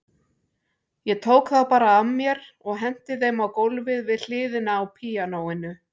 Ég tók þá bara af mér og henti þeim á gólfið við hliðina á píanóinu.